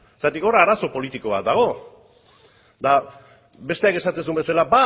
zergatik hor arazo politiko bat dago eta besteak esaten zuen bezala